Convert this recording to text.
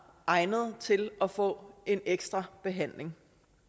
egnet til at få en ekstra behandling